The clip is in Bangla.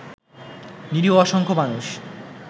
নিরীহ অসংখ্য মানুষ